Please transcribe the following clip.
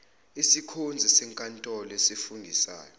isikhonzi senkantolo esifungisayo